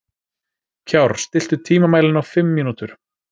Kjárr, stilltu tímamælinn á fimm mínútur.